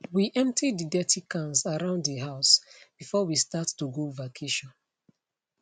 we empty de dirty cans around de house before we start to go vacation